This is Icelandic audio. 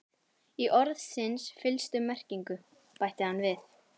Í orðsins fyllstu merkingu, bætti hann við.